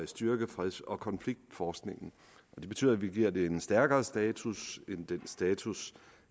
styrke freds og konfliktforskningen det betyder at vi giver det en stærkere status end den status